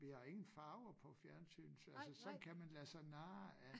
Vi har ingen farver på fjernsynet så altså sådan kan man lade sig narre af